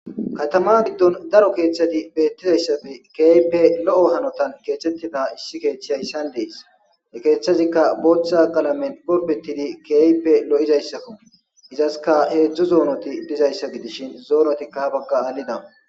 Katama giddon daro keeththati beettizayssafe keeype lo7o hanotan keeththettida issi keeththiya issan dees e keeththazikka booththa qalamen golpetidi keeype lo7izayssakko izaska heedzdzo zoonoti dizayssa gidishin zoonotikka ha bagga aalida.